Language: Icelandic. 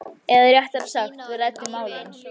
Eða réttara sagt, við ræddum málin.